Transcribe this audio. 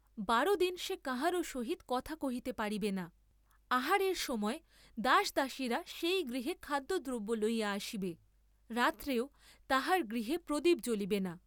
বার দিন সে কাহারও সহিত কথা কহিতে পারিবে না, আহারের সময় দাস দাসীরা সেই গৃহে খাদ্য দ্রব্য লইয়া আসিবে, রাত্রেও তাহার গৃহে প্রদীপ জ্বলিবে না।